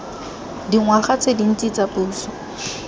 dingwaga tse dintsi tsa puso